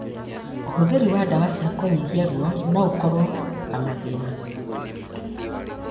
ũhũthĩri wa ndawa cia kũnyihia ruo noũkorwo na mathĩna